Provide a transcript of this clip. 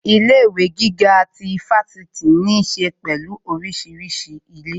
Ilé ìwé gíga ti Fáṣítì ní ṣe pẹ̀lú orísìírísìí ilé